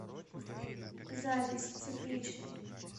запись тепличный